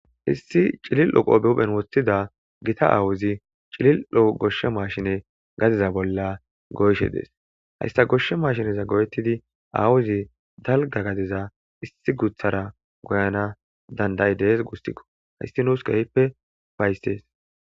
Issi cilil 7o qo behuphen woththida gita aawuzi cilil7oo goshshe maashine gadiza bolla goyshe dees hayssa goshshe maashineza goyettidi aawuzi dalga gadiza issi guthara goyana dandayi dees gustikko hayssi nuus geyppe baysees